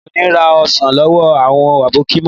Mi ò ní ra ọsàn lọ́wọ́ àwọn àbókí mọ́